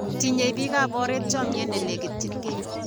Tinyei pikaporet chomie nilekityinikei.